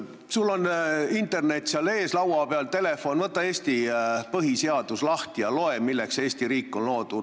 Sul on internet seal telefonis sees, võta Eesti põhiseadus lahti ja loe, milleks on Eesti riik loodud!